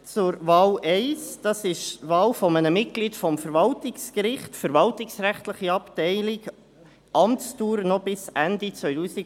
Zur Wahl 1: Das ist die Wahl eines Mitglieds des Verwaltungsgerichts, verwaltungsrechtliche Abteilung, Amtsdauer bis Ende 2022.